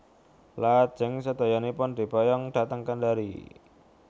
Lajeng sedoyonipun diboyong dhateng Kendari